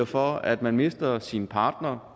for at man mister sin partner